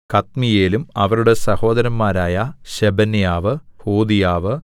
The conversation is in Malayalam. കദ്മീയേലും അവരുടെ സഹോദരന്മാരായ ശെബന്യാവ് ഹോദീയാവ്